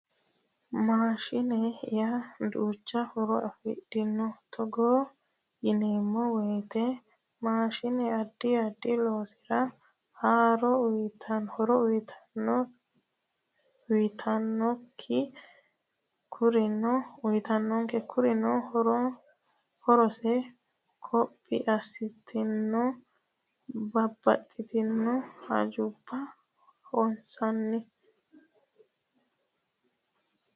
Maashine yaa duucha horo afidhino togo yineemmo woyiteno maashine addi addi loosira horo uyitannonke kurino horose koppe assatenna babbaxxitino hajubbara hossanno